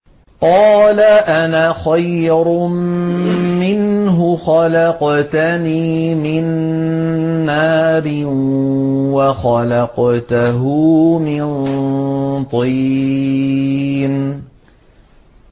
قَالَ أَنَا خَيْرٌ مِّنْهُ ۖ خَلَقْتَنِي مِن نَّارٍ وَخَلَقْتَهُ مِن طِينٍ